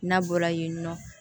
N'a bɔra yen nɔ